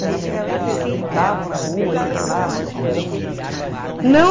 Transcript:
Mas antigamente vocês brincavam na rua, circulavam, tinham amigos nas na